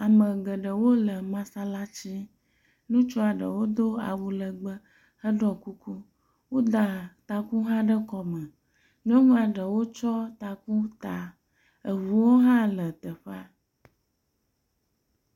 Ame geɖewo le masalatsi, nutsua ɖewo do awu legbe, heɖɔ kuku. Woda taku hã ɖe kɔme. Nyɔnua ɖewo tsyɔ taku ta. Eŋuwo hã la teƒea.